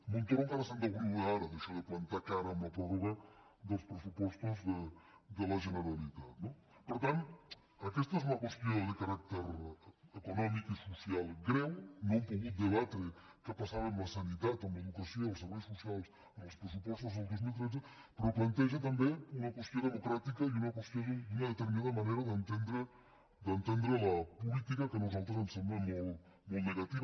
montoro encara se’n deu riure ara d’això de plantar cara amb la pròrroga dels pressupostos de la generalitat no per tant aquesta és una qüestió de caràcter econòmic i social greu no hem pogut debatre què passava amb la sanitat amb l’educació i els serveis socials en els pressupostos del dos mil tretze però planteja també una qüestió democràtica i una qüestió d’una determinada manera d’entendre la política que a nosaltres ens sembla molt negativa